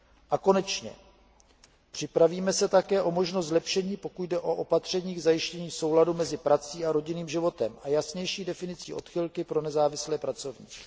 A konečně připravíme se také o možnost zlepšení, pokud jde o opatření k zajištění souladu mezi prací a rodinným životem a jasnější definici odchylky pro nezávislé pracovníky.